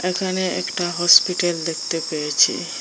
এখানে একটা hospital hospital দেখতে পেয়েছি।